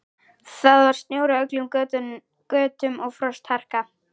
Það var snjór á öllum götum og frostharka.